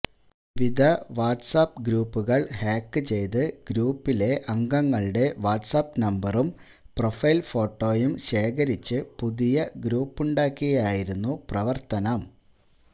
വിവിധ വാട്സാപ്പ് ഗ്രൂപ്പുകൾ ഹാക്ക് ചെയ്ത് ഗ്രൂപ്പിലെ അംഗങ്ങളുടെ വാട്സാപ്പ് നമ്പറും പ്രൊഫൈൽ ഫോട്ടോയും ശേഖരിച്ച് പുതിയ ഗ്രൂപ്പുണ്ടാക്കിയായിരുന്നു പ്രവർത്തനം